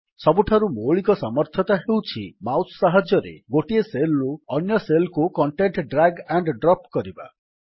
ସବୁଠାରୁ ମୌଳିକ ସାମର୍ଥ୍ୟତା ହେଉଛି ମାଉସ୍ ସାହାଯ୍ୟରେ ଗୋଟିଏ ସେଲ୍ ରୁ ଅନ୍ୟ ସେଲ୍ କୁ କଣ୍ଟେଣ୍ଟ୍ ଡ୍ରାଗ୍ ଆଣ୍ଡ୍ ଡ୍ରପ୍ କରିବା